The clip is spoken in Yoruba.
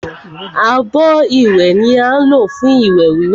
Abọ́ ìwẹ̀ ni á ń lò fún ìwẹ̀ wíwẹ̀